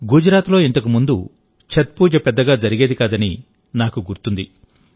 గుజరాత్లో ఇంతకు ముందు ఛత్ పూజ పెద్దగా జరిగేది కాదని నాకు గుర్తుంది